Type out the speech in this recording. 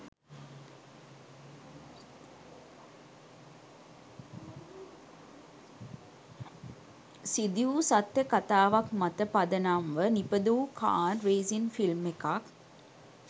සිදුවූ සත්‍ය කතාවක් මත පදනම්ව නිපදවූ කාර් රේසින් ෆිල්ම් එකක්.